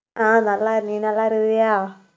ஆஹ் நல்லா இரு~ நீ நல்லா இருக்கியா